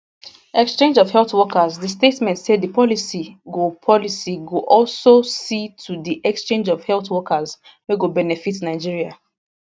exchange of health workers di statement say di policy go policy go also see to di exchange of health workers wey go benefit nigeria